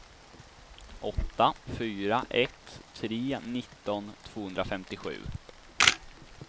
åtta fyra ett tre nitton tvåhundrafemtiosju